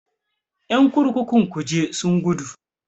Ƴan kurkukun kuje sun gudu.